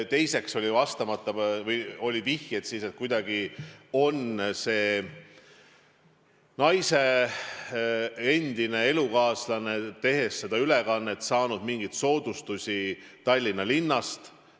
Teiseks oli vastamata küsimusi või vihjeid, et selle naise endine elukaaslane oli seda ülekannet tehes saanud kuidagi mingeid soodustusi Tallinna linnast.